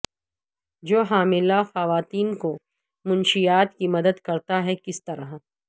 جو حاملہ خواتین کو منشیات کی مدد کرتا ہے کس طرح